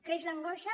creix l’angoixa